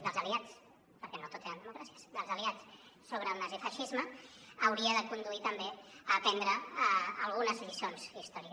dels aliats perquè no tot eren democràcies dels aliats sobre el nazifeixisme haurien de conduir també a aprendre algunes lliçons històriques